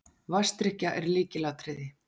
Vatnsdrykkja er lykilatriði.